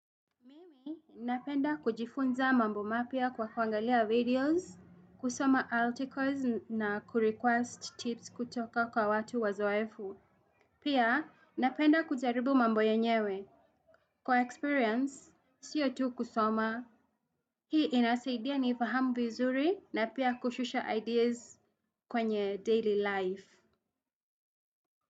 Napenda kujifunza mambo mapya kwa kuangalia videos, kusoma articles na kurequest tips kutoka kwa watu wazoefu. Pia napenda kujaribu mambo yenyewe. Kwa experience, siyo tu kusoma. Hii inasaidia niifahamu vizuri na pia kushusha ideas kwenye daily life.